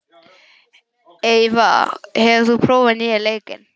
Eyva, hefur þú prófað nýja leikinn?